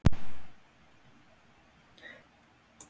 Ég meina hver getur tekið við honum?